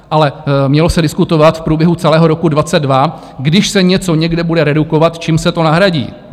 Ale mělo se diskutovat v průběhu celého roku 2022, když se něco někde bude redukovat, čím se to nahradí.